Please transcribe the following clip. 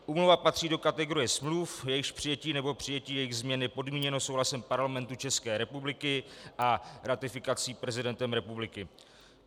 Úmluva patří do kategorie smluv, jejichž přijetí nebo přijetí jejich změn je podmíněno souhlasem Parlamentu České republiky a ratifikací prezidentem republiky.